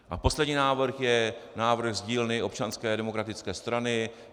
A poslední návrh je návrh z dílny Občanské demokratické strany.